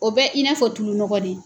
O bɛ i n'a fɔ tulu nɔgɔ de.